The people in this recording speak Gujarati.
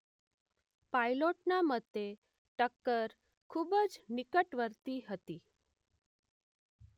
પાઇલોટના મતે ટક્કર ખૂબ જ નિકટવર્તી હતી